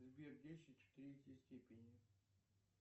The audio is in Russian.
сбер десять в третьей степени